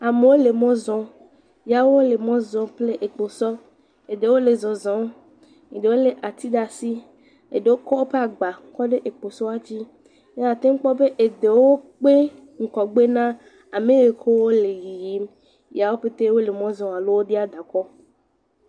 Amewo le mɔ zɔm. Ya wole mɔ zɔm kple ekposɔ. Eɖewo le zɔzɔ, eɖewo lé ati ɖe asi. Eɖewo kɔ woƒe agba kɔ ɖe ekposɔɔ dzi. Ye akpɔ be eɖewo kpe woƒe ŋgɔgbe na ame yi ke wole yiyim ya wo ƒete wole mɔ zɔ alo wodia da kɔ.